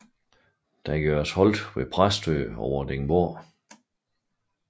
Der gøres holdt ved Præstø og Vordingborg